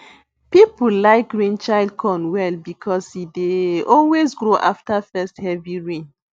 people like rainchild corn well because e dey always grow after first heavy rain